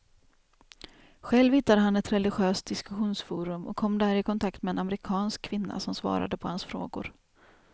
Själv hittade han ett religiöst diskussionsforum och kom där i kontakt med en amerikansk kvinna som svarade på hans frågor.